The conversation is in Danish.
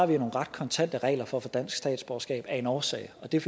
vi har nogle ret kontante regler for at få dansk statsborgerskab af en årsag og det er